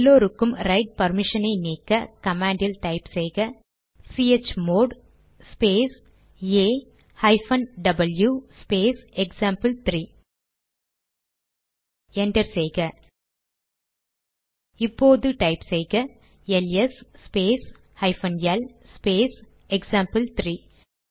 எல்லோருக்கும் ரைட் பர்மிஷனை நீக்க கமாண்ட் டைப் செய்க chmod space A hyphen W space எக்சாம்பிள்3 என்டர் செய்க இப்போது டைப் செய்க ls space hyphen L space எக்சாம்பிள்3